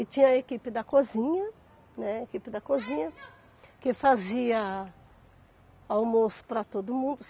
E tinha a equipe da cozinha, né, equipe da cozinha que fazia almoço para todo mundo.